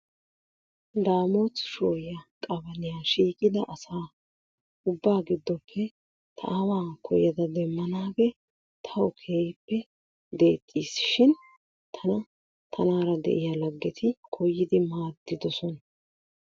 Daamot shooya qabaliya shiiqida asaa ubbaa giddoppe ta aawaa koyada demmanaagee tawu keehippe deexxiis, shin tana tanaara de'iya laggeti koyidi maaddidosona.